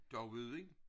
Dauudijn